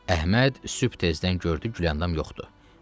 Əhməd sübh tezdən gördü Gülandam yoxdu.